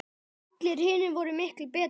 Allir hinir voru miklu betri.